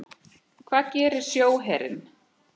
Hvað gerir sjóherinn?